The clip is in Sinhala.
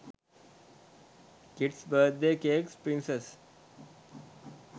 kids birthday cakes princess